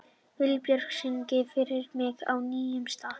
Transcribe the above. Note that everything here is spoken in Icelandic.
Vilbjörn, syngdu fyrir mig „Á nýjum stað“.